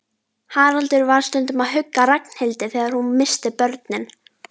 Haraldur var stundum að hugga Ragnhildi þegar hún missti börnin.